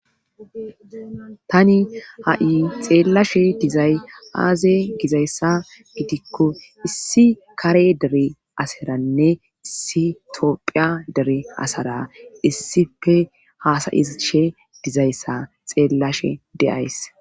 Tani ha7i xeellashe dizay aaze gizayssa gidikko issi kare dere asaranne issi tophiya dere asara issife haasayishe dizayssa xeellashe deays.